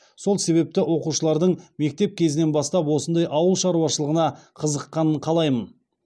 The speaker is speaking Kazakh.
сол себепті оқушылардың мектеп кезінен бастап осындай ауыл шаруашылығына қызыққанын қалаймын